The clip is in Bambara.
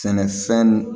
Sɛnɛfɛn n